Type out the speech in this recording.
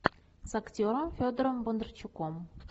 с актером федором бондарчуком